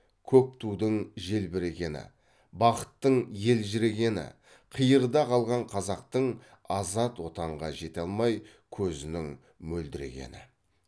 көк тудың желбірегені бақыттың елжірегені қиырда қалған қазақтың азат отанға жете алмай көзінің мөлдірегені